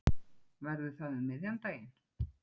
Verður það um miðjan daginn?